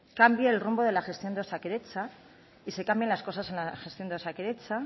cambie el rumbo de la gestión de osakidetza y se cambien las cosas en la gestión de osakidetza